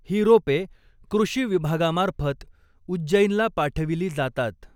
ही रोपे कृषी विभागामार्फत उज्जैनला पाठविली जातात.